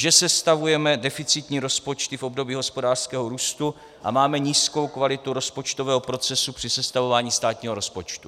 Že sestavujeme deficitní rozpočty v období hospodářského růstu a máme nízkou kvalitu rozpočtového procesu při sestavování státního rozpočtu.